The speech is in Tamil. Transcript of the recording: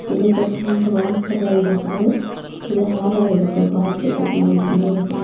இதுக்கு ஃப்ரெண்ட் வாசல இருக்குது இது அழகா இருக்கு பாய்கறதுக்கு நைட் நேரத்துல.